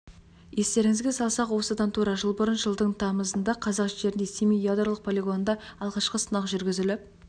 естеріңізге салсақ осыдан тура жыл бұрын жылдың тамызында қазақ жерінде семей ядролық полигонында алғашқы сынақ жүргізіліп